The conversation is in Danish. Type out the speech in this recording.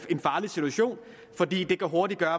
en farlig situation fordi det hurtigt kan